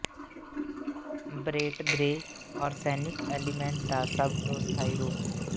ਬਰੇਟ grey arsenic element ਦਾ ਸਭ ਤੋਂ ਸਥਾਈ ਰੂਪ ਹੈ